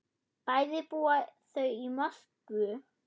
Bæði búa þau í Moskvu.